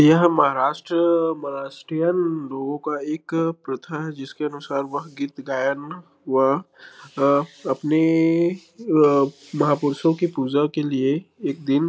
यह महाराष्ट्र महाराष्ट्रीयन लोगो एक प्रथा है जिसके अनुसार वह गीत गायन वह अ अपने अ महापुरषो के पूजा के लिए एक दिन--